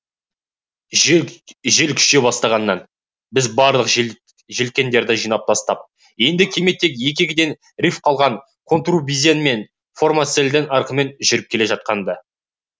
жел күшейе бастағаннан біз барлық желкендерді жинап тастап енді кеме тек екі екіден риф қалған контурбизень мен формарсельдің ырқымен жүзіп келе жатқан ды